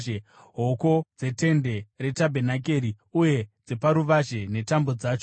hoko dzetende retabhenakeri uye dzeparuvazhe, netambo dzacho;